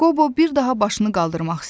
Qobo bir daha başını qaldırmaq istədi.